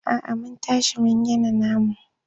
A'a mun tashi mun gina namu.